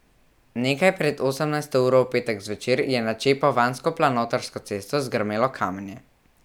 Nekaj pred osemnajsto uro v petek zvečer je na čepovansko planotarsko cesto zgrmelo kamenje.